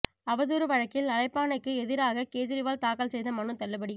அவதூறு வழக்கில் அழைப்பாணைக்கு எதிராக கேஜரிவால் தாக்கல் செய்த மனு தள்ளுபடி